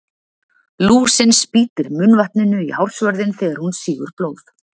Lúsin spýtir munnvatninu í hársvörðinn þegar hún sýgur blóð.